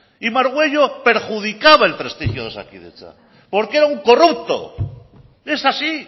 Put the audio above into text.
y margüello perjudicaba el prestigio de osakidetza porque era un corrupto es así